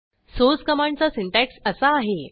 source कमांडचा syntax असा आहे